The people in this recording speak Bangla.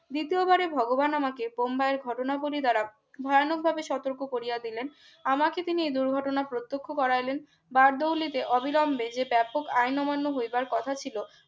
দ্বিতীয়বারে ভগবান আমাকে বোম্বাইয়ের ঘটনা বলি দ্বারা ভয়ানকভাবে সতর্ক কোরিয়া দিলেন আমাকে তিনি দুর্ঘটনা প্রত্যক্ষ করাইলেন বারদাও নিতে অবিলম্বে যে ব্যাপক আইন অমান্য হইবার কথা ছিল